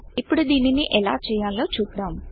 ఇప్పుడు దీనిని ఎలా చేయాలో చూద్దాం